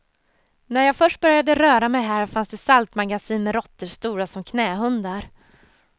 När jag först började röra mig här fanns det saltmagasin med råttor stora som knähundar.